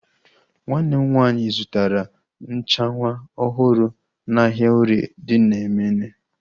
Nwanne m nwaanyị zụtara nchanwu ọhụrụ n'ahia orie dị na Emene